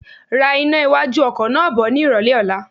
Ra iná iwájú ọkọ̀ náà bọ ni ìrólé ọ̀la.